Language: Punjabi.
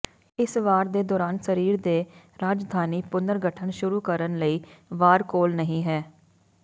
ਇਸ ਵਾਰ ਦੇ ਦੌਰਾਨ ਸਰੀਰ ਦੇ ਰਾਜਧਾਨੀ ਪੁਨਰਗਠਨ ਸ਼ੁਰੂ ਕਰਨ ਲਈ ਵਾਰ ਕੋਲ ਨਹੀ ਹੈ